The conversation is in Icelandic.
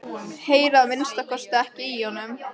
Heyri að minnsta kosti ekki í honum.